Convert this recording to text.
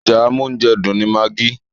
Èròjà amóúnjẹdùn ni magi.